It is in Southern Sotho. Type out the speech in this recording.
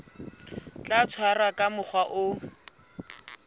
tla tshwarwa ka mokgwa o